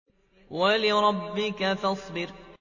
وَلِرَبِّكَ فَاصْبِرْ